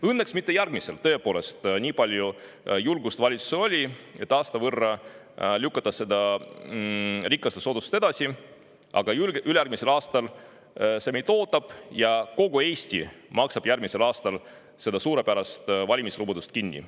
Õnneks mitte järgmisel aastal, tõepoolest, nii palju julgust valitsusel oli, et aasta võrra lükata seda rikaste soodustust edasi, aga ülejärgmisel aastal see meid ootab ja järgmisel aastal maksab kogu Eesti seda suurepärast valimislubadust kinni.